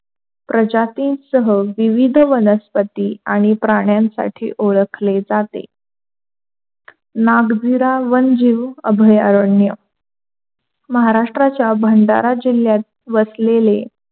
प्रजाती सहा विविध वनस्पती आणि प्राण्यांसाठी ओळखले जाते. नागधीरा वनजीव अभयारण्य महाराष्ट्राच्या भंडारा जिल्ह्यात वसलेले,